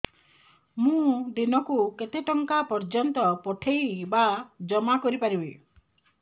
ମୁ ଦିନକୁ କେତେ ଟଙ୍କା ପର୍ଯ୍ୟନ୍ତ ପଠେଇ ବା ଜମା କରି ପାରିବି